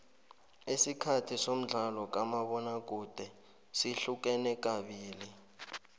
isikhathi somdlalo kamabona kude sihlukene kabili